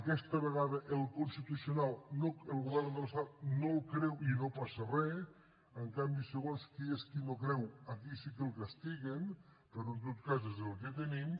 aquesta vegada al constitucional el govern de l’estat no el creu i no passa re en canvi segons qui és qui no creu aquí sí que el castiguen però en tot cas és el que tenim